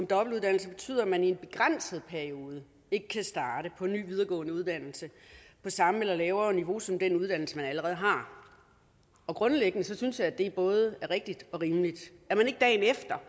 dobbeltuddannelse betyder at man i en begrænset periode ikke kan starte på en ny videregående uddannelse på samme eller lavere niveau som den uddannelse man allerede har grundlæggende synes jeg at det både er rigtigt og rimeligt at man ikke dagen efter